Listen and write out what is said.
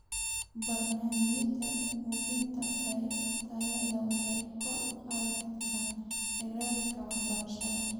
Barnaamijyada hubinta tayada waxay kor u qaadi karaan heerarka waxbarashada.